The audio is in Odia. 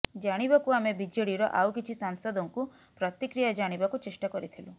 ଜାଣିବାକୁ ଆମେ ବିଜେଡିର ଆଉ କିଛି ସାଂସଦଙ୍କୁ ପ୍ରତିକ୍ରିୟା ଜାଣିବାକୁ ଚେଷ୍ଟା କରିଥିଲୁ